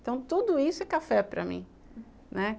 Então, tudo isso é café para mim, né.